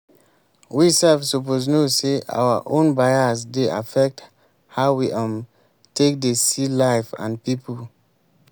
we sef suppose know sey our own bias dey affect how we um take dey see life and pipo